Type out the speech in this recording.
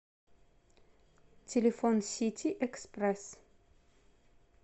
телефон сити экспресс